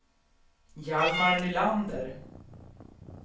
Hjalmar Nylander